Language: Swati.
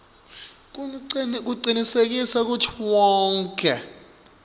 kucinisekisa kutsi wonkhe